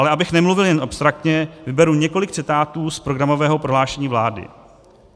Ale abych nemluvil jen abstraktně, vyberu několik citátů z programového prohlášení vlády.